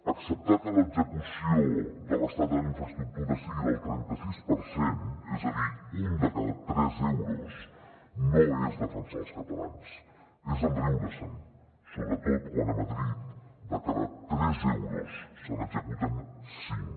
acceptar que l’execució de l’estat en infraestructura sigui del trenta sis per cent és a dir un de cada tres euros no és defensar els catalans és riure se’n sobretot quan a madrid de cada tres euros se n’executen cinc